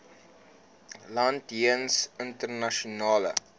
land jeens internasionale